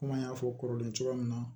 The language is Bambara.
Komi an y'a fɔ kɔrɔlen cogoya min na